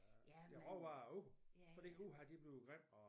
Øh deres råvare ud fordi uha det blev grimt og